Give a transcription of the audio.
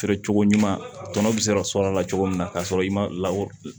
Feere cogo ɲuman tɔnɔ bɛ sɔrɔ a la cogo min na ka sɔrɔ i ma la